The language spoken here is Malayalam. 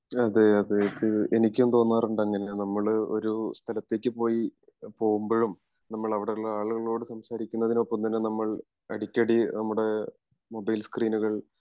അതെ അതെ എനിക്കും തോന്നാറുണ്ട് അങ്ങിനെ നമ്മള് ഒരു സ്ഥലത്തേക്ക് പോയി പോവുമ്പോഴും നമ്മൾ അവിടെ ഉള്ള ആളുകളോട് സംസാരിക്കുന്നതിന് ഒപ്പം തന്നെ നമ്മൾ അടിക്കടി നമ്മുടെ മൊബൈൽ സ്ക്രീനുകൾ